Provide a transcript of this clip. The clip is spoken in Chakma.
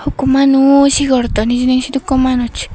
hukku manuj he gorodon hijeni sidukku manuj.